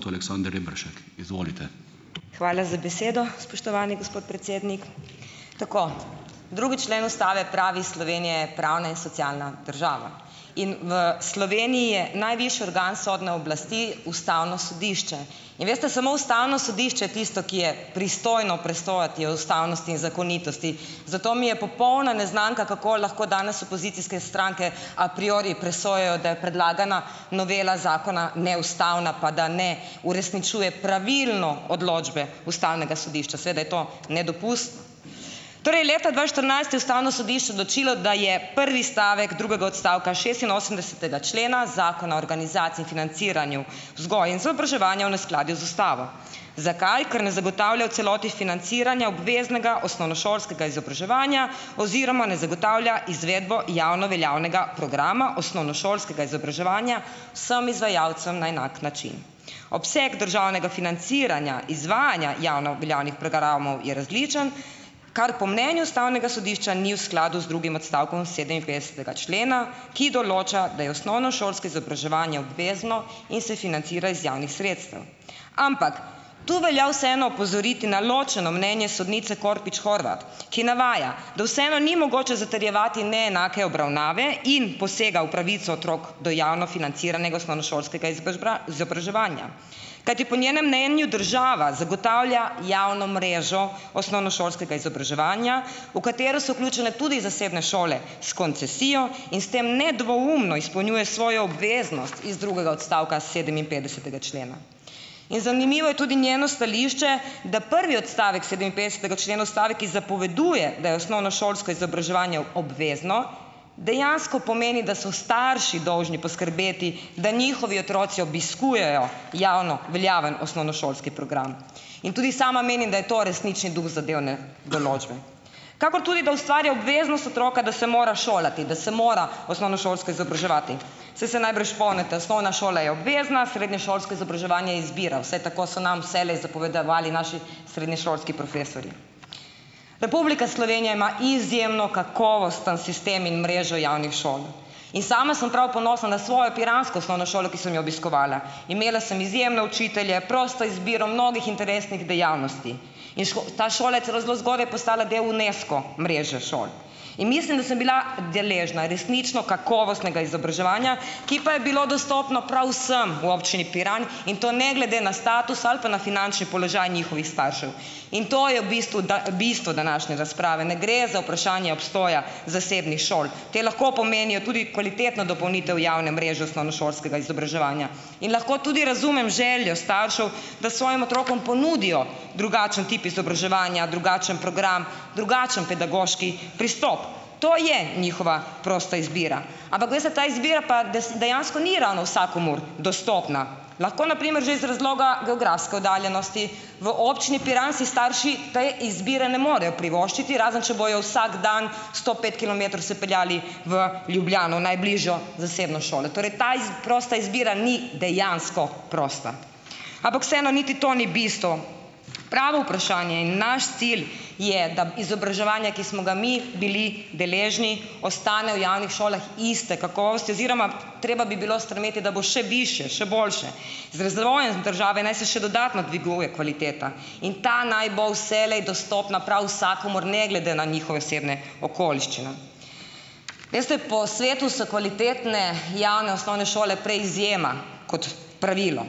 To Aleksander Reperšek, izvolite. Hvala za besedo, spoštovani gospod predsednik. Tako. Drugi člen Ustave pravi: "Slovenija je pravna in socialna država." In v Sloveniji je najvišji organ sodne oblasti Ustavno sodišče. In veste, samo Ustavno sodišče tisto, ki je pristojno presojati o ustavnosti in zakonitosti, zato mi je popolna neznanka, kako lahko danes opozicijske stranke a priori presojajo, da je predlagana novela zakona neustavna pa da ne uresničuje pravilno odločbe Ustavnega sodišča. Seveda je to Torej, leta dva štirinajst je Ustavno sodišče odločilo, da je prvi stavek drugega odstavka šestinosemdesetega člena Zakona o organizaciji in financiranju vzgoje in izobraževanja v neskladju z Ustavo. Zakaj? Ker ne zagotavlja v celoti financiranja obveznega osnovnošolskega izobraževanja oziroma ne zagotavlja izvedbo javno veljavnega programa osnovnošolskega izobraževanja vsem izvajalcem na enak način. Obseg državnega financiranja, izvajanja javno veljavnih programov je različen, kar po mnenju Ustavnega sodišča ni v skladu z drugim odstavkom sedeminpetdesetega člena, ki določa, da je osnovnošolski izobraževanje obvezno in se financira iz javnih sredstev. Ampak. To velja vseeno opozoriti na ločeno mnenje sodnice Kropič Horvat, ki navaja, da vseeno ni mogoče zatrjevati neenake obravnave in posega v pravico otrok do javno financiranega osnovnošolskega izobraževanja. Kajti po njenem mnenju država zagotavlja javno mrežo osnovnošolskega izobraževanja, v katero so vključene tudi zasebne šole s koncesijo in s tem nedvoumno izpolnjuje svojo obveznost iz drugega odstavka sedeminpetdesetega člena. In zanimivo je tudi njeno stališče, da prvi odstavek sedeminpetdesetega člena Ustave, ki zapoveduje, da je osnovnošolsko izobraževanje obvezno, dejansko pomeni, da so starši dolžni poskrbeti, da njihovi otroci obiskujejo javno veljaven osnovnošolski program. In tudi sama menim, da je to resnični duh zadev, ne. Določbe . Kakor tudi, da ustvarja obveznost otroka, da se mora šolati, da se mora osnovnošolsko izobraževati. Saj se najbrž spomnite. Osnovna šola je obvezna, srednješolsko izobraževanje izbira. Vsaj tako so nam vselej zapovedovali naši srednješolski profesorji. Republika Slovenija ima izjemno kakovosten sistem in mrežo javnih šol. In sama sem prav ponosna na svojo piransko osnovno šolo, ki sem jo obiskovala. Imela sem izjemne učitelje, prosto izbiro mnogih interesnih dejavnosti. In ta šola je celo zelo zgodaj postala del Unesco mreže šol. In mislim, da sem bila deležna resnično kakovostnega izobraževanja, ki pa je bilo dostopno prav vsem v občini Piran, in to ne glede na status ali pa na finančni položaj njihovih staršev. In to je v bistvu ta bistvo današnje razprave. Ne gre za vprašanje obstoja zasebnih šol. Te lahko pomenijo tudi kvalitetno dopolnitev javne mreže osnovnošolskega izobraževanja. In lahko tudi razumem željo staršev, da svojim otrokom ponudijo drugačen tip izobraževanja, drugačen program, drugačen pedagoški pristop. To je njihova prosta izbira. Ampak, veste, ta izbira pa dejansko ni ravno vsakomur dostopna. Lahko na primer že iz razloga geografske oddaljenosti. V občini Piran si starši te izbire ne morejo privoščiti, razen če bojo vsak dan sto pet kilometrov se peljali v Ljubljano, v najbližjo zasebno šolo. Torej ta prosta izbira ni dejansko prosta. Ampak vseeno, niti to ni bistvo. Pravo vprašanje in naš cilj je, da izobraževanja, ki smo ga mi bili deležni, ostane v javnih šolah iste kakovosti oziroma treba bi bilo spremeniti, da bo še višje, še boljše. Z razvojem države naj se še dodatno dviguje kvaliteta. In ta naj bo vselej dostopna prav vsakomur, ne glede na njihove osebne okoliščine. Veste, po svetu so kvalitetne javne osnovne šole prej izjema kot pravilo.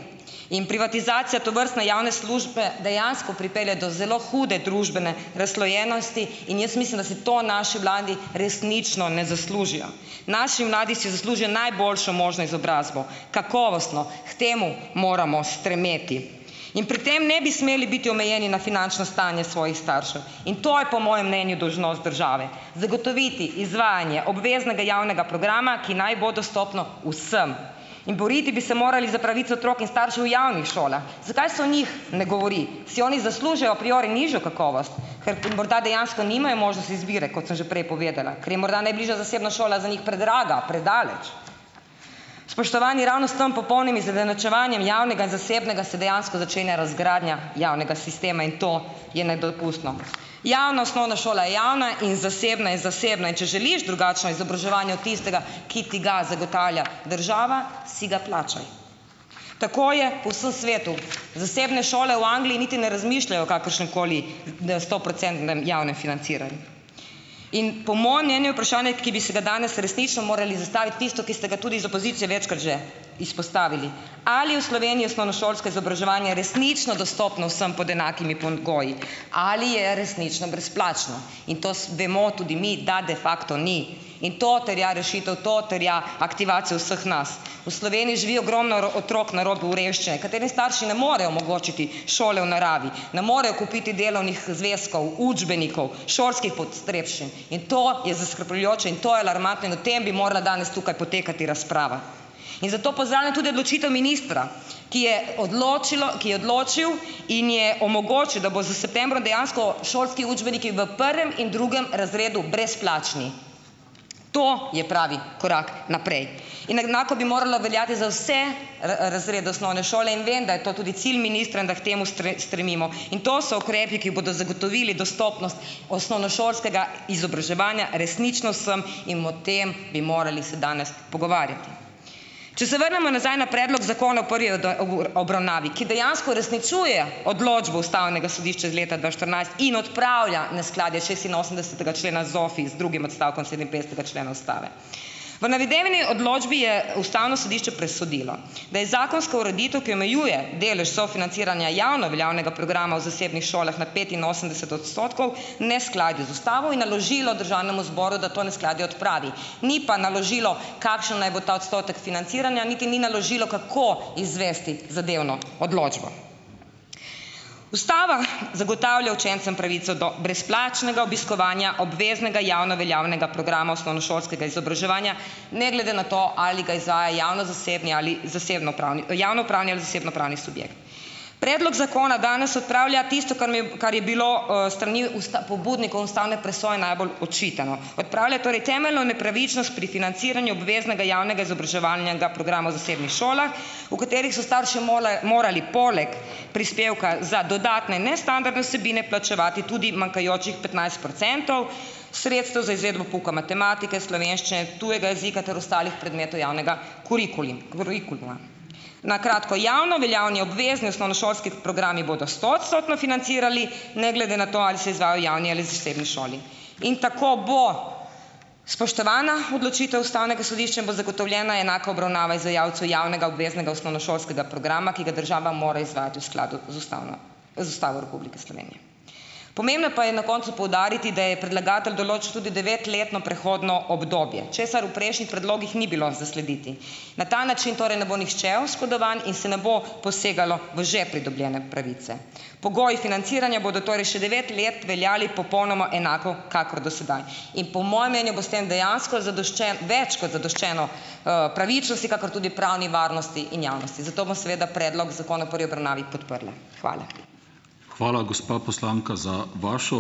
In privatizacija tovrstne javne službe dejansko pripelje do zelo hude družbene razslojenosti in jaz mislim, da se to naši mladi resnično ne zaslužijo. Naši mladi si zaslužijo najboljšo možno izobrazbo. Kakovostno. K temu moramo stremeti. In pri tem ne bi smeli biti omejeni na finančno stanje svojih staršev. In to je po mojem mnenju dolžnost države. Zagotoviti izvajanje obveznega javnega programa, ki naj bo dostopno vsem. In boriti bi se morali za pravice otrok in staršev javnih šolah. Zakaj se o njih ne govori? Si oni zaslužijo a priori nižjo kakovost? Ker morda dejansko nimajo možnosti izbire, kot sem že prej povedala. Ker je morda najbližja zasebna šola za njih predraga, predaleč. Spoštovani, ravno s tam popolnim izenačevanjem javnega in zasebnega se dejansko začenja razgradnja javnega sistema in to je nedopustno. Javna osnovna šola je javna in zasebna je zasebna. In če želiš drugačno izobraževanje od tistega, ki ti ga zagotavlja država, si ga plačaj. Tako je po vsem svetu. Zasebne šole v Angliji niti ne razmišljajo o kakršnemkoli stoprocentnem javnem financiranju. In po mojem mnenju je vprašanje, ki bi se ga danes resnično morali zastaviti, tisto, ki ste ga tudi z opozicije večkrat že izpostavili. Ali v Sloveniji osnovnošolsko izobraževanje resnično dostopno vsem pod enakimi pogoji? Ali je resnično brezplačno? In to vemo tudi mi, da de facto ni. In to terja rešitev, to terja aktivacijo vseh nas. V Sloveniji živi ogromno otrok na robu revščine, katere starši ne morejo omogočiti šole v naravi, ne morejo kupiti delovnih zvezkov, učbenikov, šolskih potrebščin. In to je zaskrbljujoče in to je alarmantno, v tem bi morala danes tukaj potekati razprava. In zato pozdravljam tudi odločitev ministra, ki je odločilo, ki je odločil in je omogočil, da bo s septembrom dejansko šolski učbeniki v prvem in drugem razredu brezplačni. To je pravi korak naprej. In enako bi moralo veljati za vse razrede osnovne šole in vem, da je to tudi cilj ministra in da k temu stremimo. In to so ukrepi, ki bodo zagotovili dostopnost osnovnošolskega izobraževanja resnično vsem, in o tem bi se morali danes pogovarjati. Če se vrnemo nazaj na predlog zakona o prvi obravnavi, ki dejansko uresničuje odločbo Ustavnega sodišča iz leta dva štirinajst in odpravlja neskladje šestinosemdesetega člena ZOFI z drugim odstavkom sedeminpetdesetega člena Ustave. V navedeni odločbi je Ustavno sodišče presodilo, da je zakonska ureditev, ki omejuje delež sofinanciranja javno veljavnega programa v zasebnih šolah na petinosemdeset odstotkov, neskladju z Ustavo in naložilo Državnemu zboru, da to neskladje odpravi. Ni pa naložilo, kakšen naj bo ta odstotek financiranja, niti ni naložilo, kako izvesti zadevno odločbo. Ustava zagotavlja učencem pravico do brezplačnega obiskovanja obveznega javno veljavnega programa osnovnošolskega izobraževanja, ne glede na to, ali ga izvaja javno-zasebni ali javnopravni ali zasebnopravni subjekt. Predlog zakona danes odpravlja tisto, kar kar je bilo strani pobudnikov ustavne presoje najbolj očitano. Odpravlja torej temeljno nepravičnost pri financiranju obveznega javnega izobraževalnega programa v zasebnih šolah, v katerih so starši morali poleg prispevka za dodatne nestandardne vsebine plačevati tudi manjkajočih petnajst procentov sredstev za izvedbo pouka matematike, slovenščine, tujega jezika ter ostalih predmetov javnega kurikuluma. Na kratko. Javno veljavni obvezni osnovnošolski programi bodo stoodstotno financirali, ne glede na to, ali se izvajajo v javni ali zasebni šoli. In tako bo spoštovana odločitev Ustavnega sodišča in bo zagotovljena enaka obravnava izvajalcev javnega obveznega osnovnošolskega programa, ki ga država mora izvajati v skladu z z Ustavo Republike Slovenije. Pomembno pa je na koncu poudariti, da je predlagatelj določil tudi devetletno prehodno obdobje, česar v prejšnjih predlogih ni bilo zaslediti. Na ta način torej ne bo nihče oškodovan in se ne bo posegalo v že pridobljene pravice. Pogoji financiranja bodo torej še devet let veljali popolnoma enako kakor do sedaj. In po mojem mnenju bo s tem dejansko zadoščen, več kot zadoščeno pravičnosti, kakor tudi pravni varnosti in javnosti. Zato bom seveda predlog zakona v prvi obravnavi podprla. Hvala. Hvala, gospa poslanka za vašo ...